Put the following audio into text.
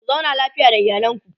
ku zauna lafiya da iyalanku